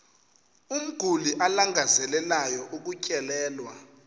umguli alangazelelayo ukutyelelwa